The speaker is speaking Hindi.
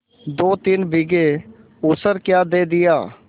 दोतीन बीघे ऊसर क्या दे दिया